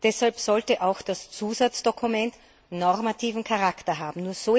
deshalb sollte auch das Zusatzdokument normativen Charakter haben.